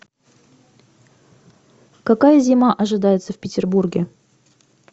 какая зима ожидается в петербурге